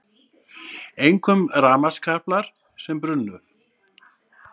Einkum rafmagnskaplar sem brunnu